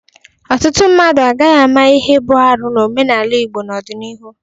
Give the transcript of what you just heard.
Ọtụtụ mmadụ agaghị ama ihe bụ arụ n'omenala Igbo n'ọdịnihu.